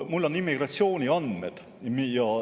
Mul on immigratsiooniandmed.